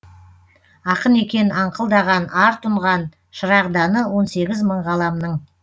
ақын екен аңқылдаған ар тұнған шырағданы он сегіз мың ғаламның